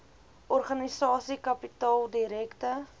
organisasie kapitaal direkte